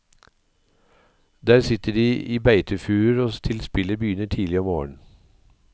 Der sitter de i beitefuruer til spillet begynner tidlig om morgenen.